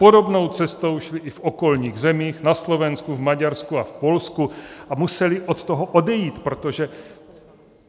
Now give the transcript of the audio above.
Podobnou cestou šli i v okolních zemích, na Slovensku, v Maďarsku a v Polsku, a museli od toho odejít, protože...